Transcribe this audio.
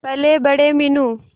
पलेबड़े Meenu